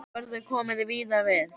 Þar verður komið víða við.